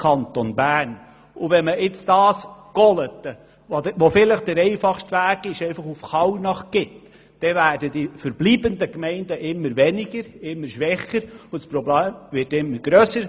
Und wenn man nun Golaten nach Kallnach gibt, dann werden die verbleibenden Gemeinden immer weniger und immer schwächer, und das Problem wird immer grösser.